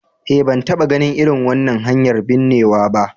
Eh, ban taba ganin irin wannan hanyar binnewa ba.